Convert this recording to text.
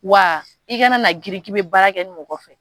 Wa i kana na girin k'i bɛ baara kɛ ni mɔgɔ fɛ